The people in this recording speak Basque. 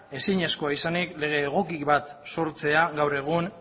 ezinezkoa izanik lege egoki bat sortzea gaur egun